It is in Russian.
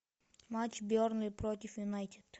матч бернли против юнайтед